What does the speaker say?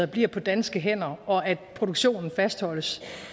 bliver på danske hænder og at produktionen fastholdes